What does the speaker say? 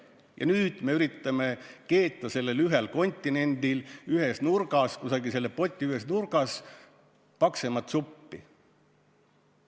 Ja nüüd me üritame keeta sellel ühel kontinendil, kusagil n-ö poti ühes nurgas paksemat suppi.